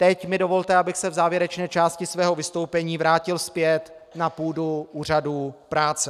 Teď mi dovolte, abych se v závěrečné části svého vystoupení vrátil zpět na půdu úřadů práce.